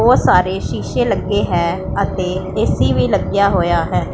ਬਉਤ ਸਾਰੇ ਸ਼ੀਸ਼ੇ ਲੱਗੇ ਹੈ ਅਤੇ ਏਸੀ ਵੀ ਲੱਗਿਆ ਹੋਇਆ ਹੈ।